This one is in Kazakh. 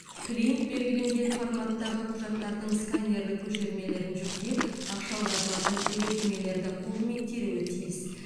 клиент белгіленген форматтағы құжаттардың сканерлік көшірмелерін жүктеп ақша аударылатын деректемелерді қолымен теруі тиіс